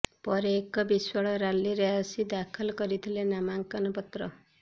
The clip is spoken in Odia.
ପରେ ଏକ ବିଶାଳ ର୍ୟାଲିରେ ଆସି ଦାଖଲ କରିଥିଲେ ନାମାଙ୍କନ ପତ୍ର